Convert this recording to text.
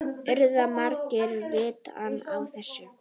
Urðu margir vitni að þessu.